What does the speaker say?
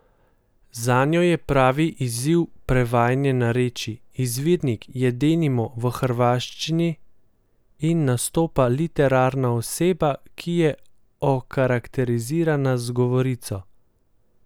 Zanjo je pravi izziv prevajanje narečij: "Izvirnik je denimo v hrvaščini in nastopa literarna oseba, ki je okarakterizirana z govorico.